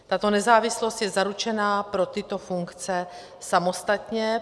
Tato nezávislost je zaručena pro tyto funkce samostatně.